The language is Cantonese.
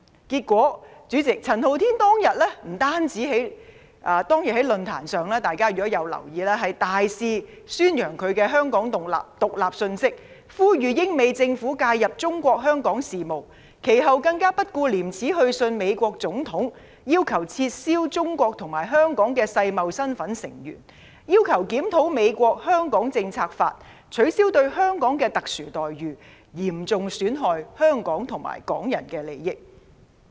結果，主席，陳浩天當天不單在論壇上大肆宣揚"香港獨立"的信息，呼籲英、美政府介入中國香港事務，其後更不顧廉耻去信美國總統，要求撤銷中國及香港的世貿成員身份，又要求檢討美國《香港政策法》，取消對香港的特殊待遇，嚴重損害香港和港人的利益。